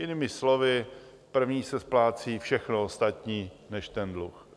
Jinými slovy, první se splácí všechno ostatní než ten dluh.